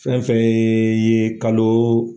Fɛnfɛn yee ye kalo